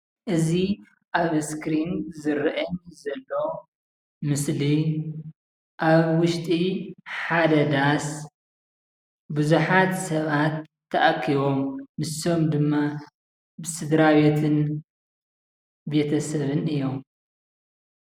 እዚ ኣብ እስክሪን ዝረአ ዘሎ ምስሊ ኣብ ውሽጢ ሓደ ዳስ ብዙሓት ሰባት ተኣኪቦም ንሶም ድማ ስድራቤትን ቤተሰብን እዮሞ፡፡